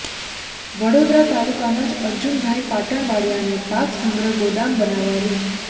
વડોદરા તાલુકાના જ અર્જુનભાઈ પાટણવાડીયાને પાક સંગ્રહ ગોદામ બનાવવા રૂ